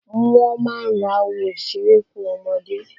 Wọ́n máa ń ra oun ìseré fún ọmọdé.